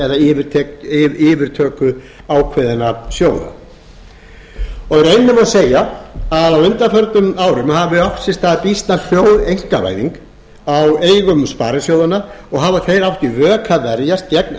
eða yfirtöku ákveðinna sjóða í rauninni má segja að á undanförnum árum hafi átt sér stað býsna hljóð einkavæðing á eigum sparisjóðanna og hafa þeir átt í vök að verjast gegn